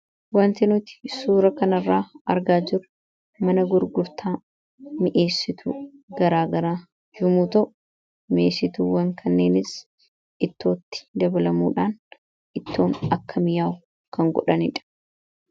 wanti nuti suura kanarraa argaa jiru mana gurgurtaa mi'eessitu garaagaraa yommuu ta'u mi'esituuwwan kanneenis ittootti dabalamuudhaan ittoon akka miyaa'u kan godhanidha